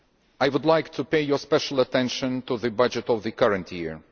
I would like to draw your special attention to the budget of the current year.